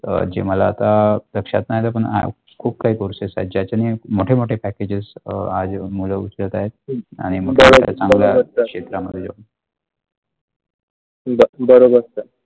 मला आता लक्षात नाही आले पण आता खूप काही courses आहे त्यांनी खूप मोठे मोठे packages आज मुले उचलत आहते आणि चांगले क्षेत्रात मध्ये ब बरोबर sir